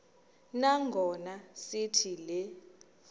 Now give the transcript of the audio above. nangona sithi le